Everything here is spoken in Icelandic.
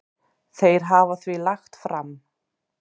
Þeir hafa því lagt fram